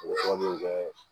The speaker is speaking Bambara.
O fɛn min bɛ